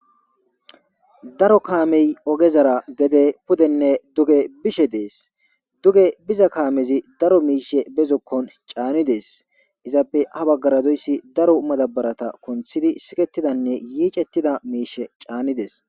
Daro kaamey ogezara gede pudenne duge bishe dees; duge biza kaamezi daro miishshe be zokkon caanidees; izappe ha baggara doyssi daro madaabarata kunththidi sikketidanne yiicettida miishshe caanides.